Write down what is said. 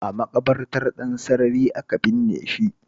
A maƙabartar Ɗansarari aka binne shi